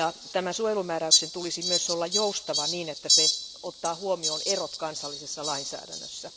Tämän suojelumääräyksen tulisi myös olla joustava siten, että siinä otetaan huomioon erot kansallisessa lainsäädännössä.